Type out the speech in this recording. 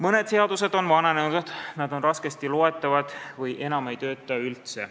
Mõned seadused on vananenud, nad on raskesti loetavad või ei tööta enam üldse.